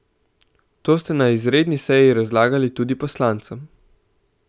To ste na izredni seji razlagali tudi poslancem.